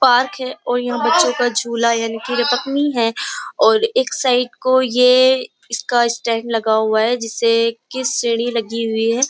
Park है और यहाँ बच्चों का झूला है यानि है और एक साइड को ये इसका स्टैन्ड लगा है जिससे कि सीढ़ी लगी हुई है।